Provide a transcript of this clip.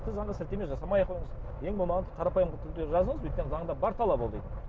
тіпті заңға сілтеме жасамай ақ қойыңыз ең болмағанда қарапайым түрде жазыңыз өйткені ол заңда бар талап ол дейтін